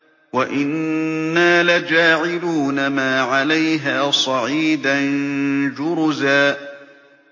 وَإِنَّا لَجَاعِلُونَ مَا عَلَيْهَا صَعِيدًا جُرُزًا